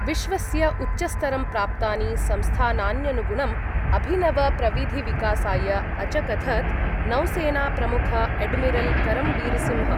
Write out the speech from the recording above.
विश्वस्य उच्चस्तरं प्राप्तानि संस्थानान्यनुगुणम् अभिनवप्रविधिविकासाय अचकथत् नौसेनाप्रमुख एड्मिरल् करमबीरसिंह।